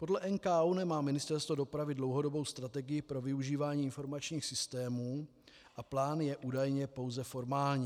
Podle NKÚ nemá Ministerstvo dopravy dlouhodobou strategii pro využívání informačních systémů a plán je údajně pouze formální.